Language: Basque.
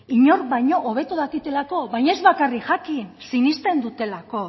inor baino hobeto dakitelako baina ez bakarrik jakin sinesten dutelako